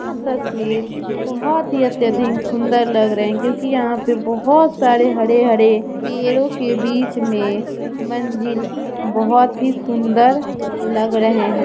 यह तस्वीर बहुत ही अत्यधिक सुंदर लग रही है क्योंकि यहां पर बहुत सारे हरे-हरे पेड़ों के बीच में मंजिल बहुत ही सुंदर लग रहे हैं।